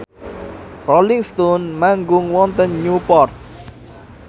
Rolling Stone manggung wonten Newport